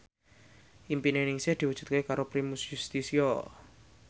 impine Ningsih diwujudke karo Primus Yustisio